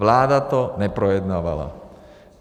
Vláda to neprojednávala.